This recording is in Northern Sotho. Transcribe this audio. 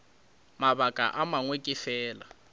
mabaka a mangwe ke fela